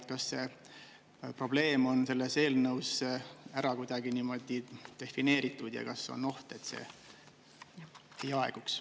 Ja kas see probleem on selles eelnõus ära kuidagi niimoodi defineeritud ja kas on oht, et see aeguks?